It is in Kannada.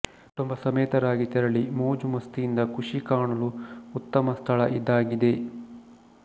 ಕುಟುಂಬ ಸಮೇತರಾಗಿ ತೆರಳಿ ಮೋಜು ಮಸ್ತಿಯಿಂದ ಖುಷಿ ಕಾಣಲು ಉತ್ತಮ ಸ್ಥಳ ಇದಾಗಿದೆ